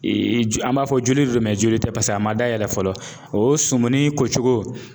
ju an b'a fɔ joli do joli tɛ pase a ma dayɛlɛ fɔlɔ. O sumuni kocogo